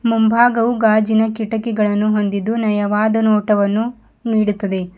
ಮುಂಭಾಗವು ಗಾಜಿನ ಕಿಟಕಿಗಳನ್ನು ಹೊಂದಿದ್ದು ನಯವಾದ ನೋಟವನ್ನು ನೀಡುತ್ತದೆ.